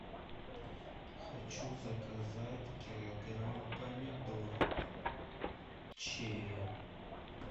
хочу заказать килограмм помидор черри